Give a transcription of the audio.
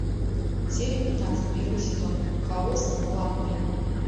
серия пятнадцать первый сезон хаос в ванной